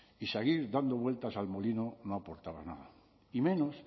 y seguir dando vueltas al molino no aportaba nada y menos